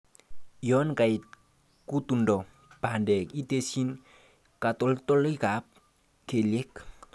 Yon kait kutundo bandek itesyi katoltolikab keliek .